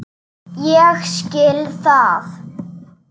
Ekki okkur frekar en öðrum.